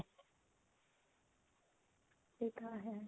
ਠੀਕ ਆ ਹਾਂ